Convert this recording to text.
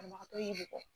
Banabagatɔ y'i bɔ